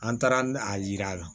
An taara a yira a la